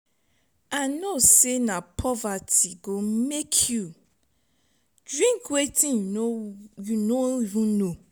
i no say na poverty go make you drink wetin you no even know.